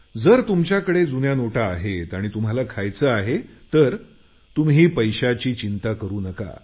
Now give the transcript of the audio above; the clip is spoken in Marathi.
जर तुमच्याकडे जुन्या नोटा आहेत आणि तुम्हाला खायचं आहे तर तुम्ही पैशांची चिंता करू नका